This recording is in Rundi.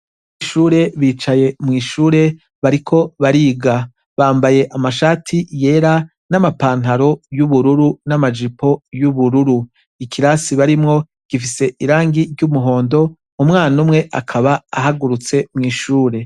Abanyeshure bicaye mw'ishure bariko bariga. Bambaye amashati yera n'amapantaro y'ubururu n'amajipo y'ubururu. Ikirasi barimwo gifise irangi ry'umuhondo umwana umwe akaba ahagurutse mw'ishure.